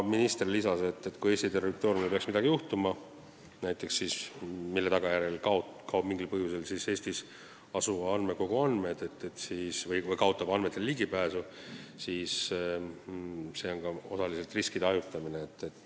Minister lisas, et kui Eesti territooriumil peaks midagi juhtuma, näiteks midagi, mille tagajärjel kaoksid mingil põhjusel Eestis asuva andmekogu andmed või Eesti kaotaks andmetele ligipääsu, siis oleks sel juhul mõnes teises riigis alati ligipääs tagatud.